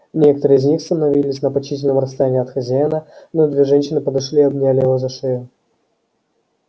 некоторые из них становились на почтительном расстоянии от хозяина но две женщины подошли и обняли его за шею